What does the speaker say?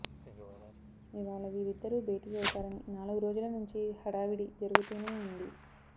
ఇవాళ వీరిద్దరూ భేటీ అవుతారని నాలుగురోజుల నుంచి హడావిడి జరుగుతూనే వుంది